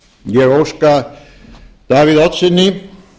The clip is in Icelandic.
ég óska davíð oddssyni